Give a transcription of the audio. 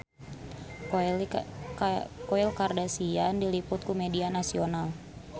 Khloe Kardashian diliput ku media nasional